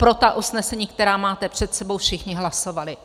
Pro ta usnesení, která máte před sebou, všichni hlasovali.